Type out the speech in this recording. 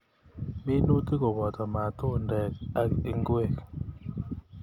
Minutik koboto matundek ak ngwek.